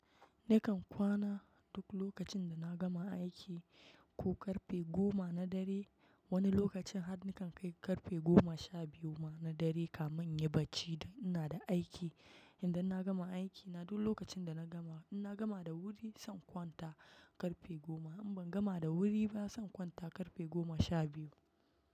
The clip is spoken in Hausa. Nakan dumlokacin da na gama aiki, ko kaefe goma na dare. Wani lokacin har nakan kai karfe goma sha biyu ma na dare, kamin inyi baci dan ina da aiki. Idan na gama aiki na, duk lokacin da na gama, in na gama da wuri zan kwanta karfe goma. In ban gama da wuri ba zan kwanta karfe goma sha biyu.